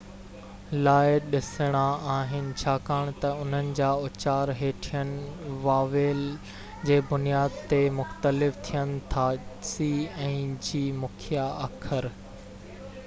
مکيہ اکر c ۽ g لاءِ ڏسڻا آهن ڇاڪاڻ تہ انهن جا اُچار هيٺين واويل جي بنياد تي مختلف ٿين ٿا